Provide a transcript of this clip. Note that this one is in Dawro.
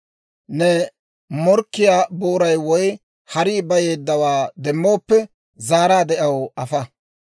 «Ne morkkiyaa booray woy harii bayeeddawaa demmooppe, zaaraadde aw afa.